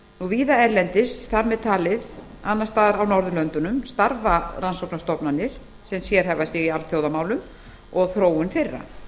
víða erlendis þar með talið annars staðar á norðurlöndunum starfa rannsóknarstofnanir sem sérhæfa sig í alþjóðamálum og þróun þeirra